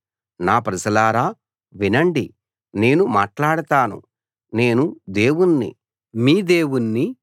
నా ప్రజలారా వినండి నేను మాట్లాడతాను నేను దేవుణ్ణి మీ దేవుణ్ణి